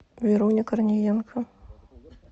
веруня корниенко